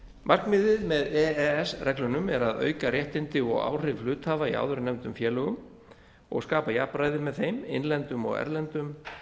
markmiðið með e e s reglunum er að auka réttindi og áhrif hluthafa í áðurnefndum félögum og skapa jafnræði með þeim innlendum og erlendum